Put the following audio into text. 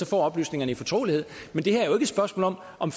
får oplysningerne i fortrolighed men det her er jo ikke et spørgsmål om om